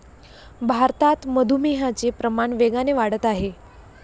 भारतात मधुमेहाचे प्रमाण वेगाने वाढत आहे.